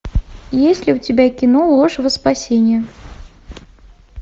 есть ли у тебя кино ложь во спасение